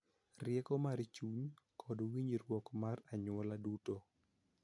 Rieko mar chuny, kod winjruok mar anyuola duto.